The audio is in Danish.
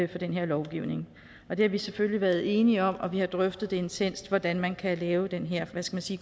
den her lovgivning og det har vi selvfølgelig været enige om og vi har drøftet intenst hvordan man kan lave den her